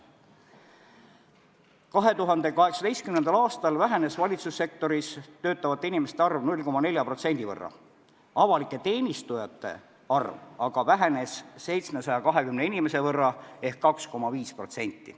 2018. aastal vähenes valitsussektoris töötavate inimeste arv 0,4%, avalike teenistujate arv aga vähenes 720 inimese võrra ehk 2,5%.